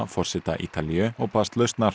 forseta Ítalíu og baðst lausnar